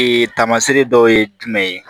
taamasere dɔw ye jumɛn ye